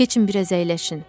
Keçin, biraz əyləşin.